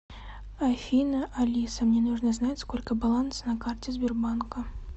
афина алиса мне нужно знать сколько баланса на карте сбербанка